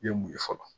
I ye mun ye fɔlɔ